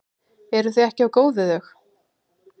Eruð þið ekki of góð við þau?